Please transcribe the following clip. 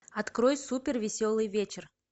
открой супер веселый вечер